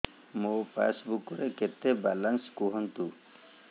ମୋ ପାସବୁକ୍ ରେ କେତେ ବାଲାନ୍ସ କୁହନ୍ତୁ